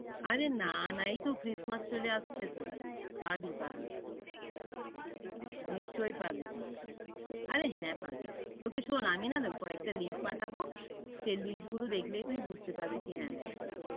আরে না না এইতো christmas চলে আসছে তো, পাবি পাবি। নিশ্চয় পাবি, আরেহ হ্যাঁ পাবি। তোকে শোন আমি না কয়েকটা link পাঠাবো, সেই link গুলো দেখলেই তুই বুঝতে পারবি কে হ্যাঁ ইয়া।